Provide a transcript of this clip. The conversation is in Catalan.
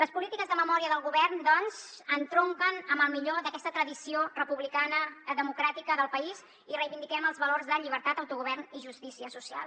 les polítiques de memòria del govern doncs entronquen amb el millor d’aquesta tradició republicana democràtica del país i reivindiquem els valors de llibertat autogovern i justícia social